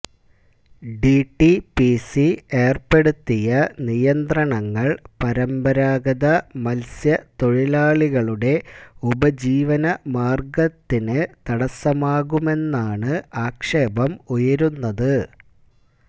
DTPC ഏർപ്പെടുത്തിയ നിയന്ത്രണങ്ങൾ പരമ്പരാഗത മത്സ്യ തൊഴിലാളികളുടെ ഉപജീവന മാർഗ്ഗത്തിന് തടസ്സമാകുമെന്നാണ് ആക്ഷേപം ഉയരുന്നത്